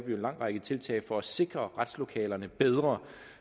en lang række tiltag for at sikre retslokalerne bedre